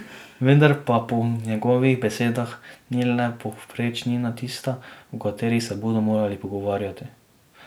Vendar pa po njegovih besedah ni le povprečnina tista, o kateri se bodo morali pogovarjati.